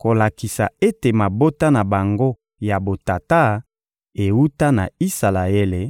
kolakisa ete mabota na bango ya botata ewuta na Isalaele: